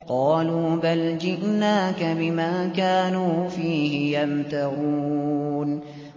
قَالُوا بَلْ جِئْنَاكَ بِمَا كَانُوا فِيهِ يَمْتَرُونَ